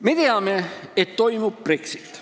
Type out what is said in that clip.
Me teame, et toimub Brexit.